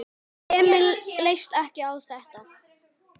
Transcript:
Emil leist ekki á þetta.